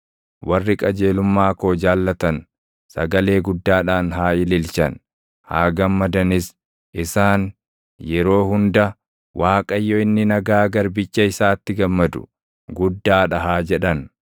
Warri qajeelumma koo jaallatan, sagalee guddaadhaan haa ililchan; haa gammadanis. Isaan yeroo hunda, “ Waaqayyo inni nagaa garbicha isaatti gammadu // guddaa dha” haa jedhan.